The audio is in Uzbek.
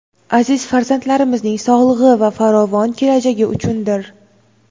aziz farzandlarimizning sog‘lig‘i va farovon kelajagi uchundir.